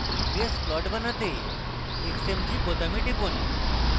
grace plot দেখাতে xmg বোতামে টিপুন